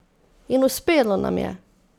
In uspelo nam je!